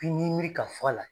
miiri ka fɔ a la.